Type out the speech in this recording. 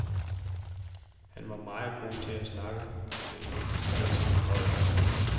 Han var meget god til at snakke, læser hun højt.